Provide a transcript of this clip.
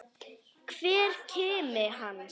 Hver kimi hans.